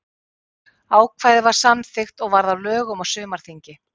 Ákvæðið var samþykkt og varð að lögum á sumarþingi.